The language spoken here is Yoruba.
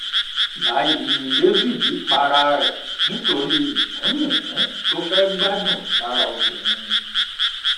báyì ni david para rẹ nítorí yíkùnyìnkùn tó fẹẹ gbádùn lára obìnrin